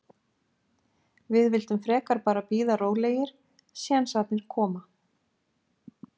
Við vildum frekar bara bíða rólegir, sénsarnir koma.